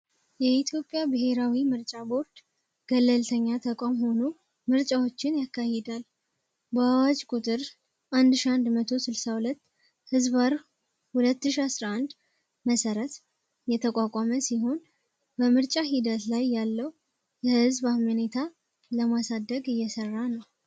የኢትዮጵያ ብሔራዊ ምርጫ ቦርድ ገለልተኛ ተቋም ሆኖ ምርጫዎችን ያካሂዳል። በአዋጅ ቁጥር 1162/ 2011 መሰረት የተቋቋመ ሲሆን፤ በምርጫ ሂደት ላይ ያለው የህዝብ አመኔታ ለማሳደግ እየሠራ ነው።